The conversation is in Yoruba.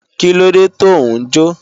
Kílóde tò ń jó?